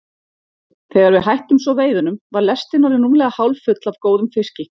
Þegar við hættum svo veiðunum var lestin orðin rúmlega hálffull af góðum fiski.